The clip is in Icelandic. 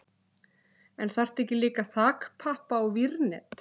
En þarftu ekki líka þakpappa og vírnet?